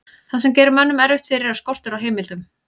það sem gerir mönnum erfitt fyrir er skortur á heimildum